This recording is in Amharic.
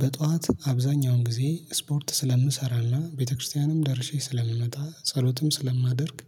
በጧት አብዛኛውን ጊዜ ስፖርት ስለምሰራና፤ ቤተክርስቲያንም ደርሼ ስለምመጣ፤ ጸሎትም ስለማደርግ፤